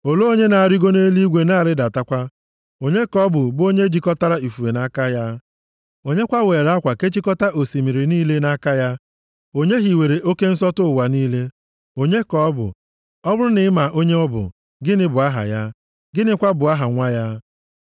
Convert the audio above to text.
Olee onye na-arịgo nʼeluigwe na-arịdatakwa? Onye ka ọ bụ, bụ onye jikọtara ifufe nʼaka ya? Onye kwa weere akwa kechikọtaa osimiri niile nʼaka ya? Onye hiwere oke nsọtụ ụwa niile? Onye ka ọ bụ? Ọ bụrụ na ị ma onye ọ bụ, gịnị bụ aha ya? Gịnịkwa bụ aha nwa ya?